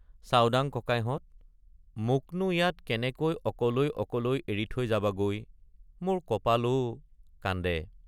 চাওডাঙ ককাইহঁত মোকনো ইয়াত কেনেকৈ অকলৈ অকলৈ এৰি থৈ যাবাগৈ মোৰ কপাল অ কান্দে ।